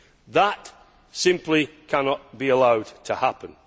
That simply cannot be allowed to happen.